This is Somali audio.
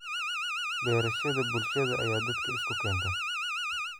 Beerashada bulshada ayaa dadka isku keenta.